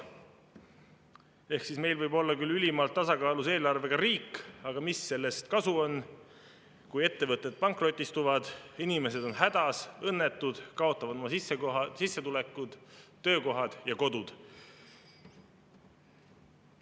Ehk siis meil võib olla küll ülimalt tasakaalus eelarvega riik, aga mis sellest kasu on, kui ettevõtted pankrotistuvad, inimesed on hädas, õnnetud, kaotavad oma sissetulekud, töökohad ja kodud.